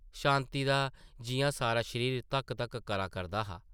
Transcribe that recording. शांति दा जिʼयां सारा शरीर धक्क-धक्क करा करदा हा ।